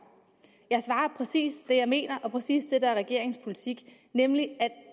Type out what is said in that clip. præcis det jeg mener og præcis det der er regeringens politik nemlig at